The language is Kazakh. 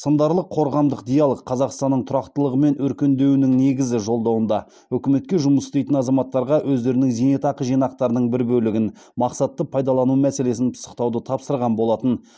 сындарлы қорғамдық диалог қазақстанның тұрақтылығы мен өркендеуінің негізі жолдауында үкіметке жұмыс істейтін азаматтарға өздерінің зейнетақы жинақтарының бір бөлігін мақсатты пайдалану мәселесін пысықтауды тапсырған болатын